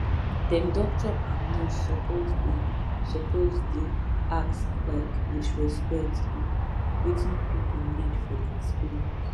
dem doctor and nurse suppose dey suppose dey ask um with respect um wetin pipu need for dia spirit